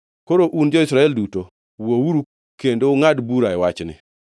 Koro, un jo-Israel duto, wuouru kendo ungʼad bura e wachni.”